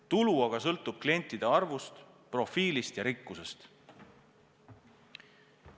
Tulu aga sõltub klientide arvust, profiilist ja rikkusest.